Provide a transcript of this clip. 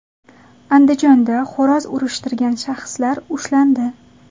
Andijonda xo‘roz urishtirgan shaxslar ushlandi.